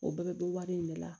O bɛɛ bɛ bɔ wari in de la